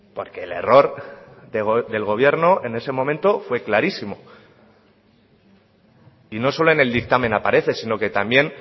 porque el error del gobierno en ese momento fue clarísimo y no solo en el dictamen aparece sino que también